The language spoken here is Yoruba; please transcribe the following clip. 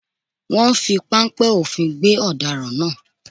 Wọ́n fi páńpẹ́ òfin gbé ọ̀daràn náà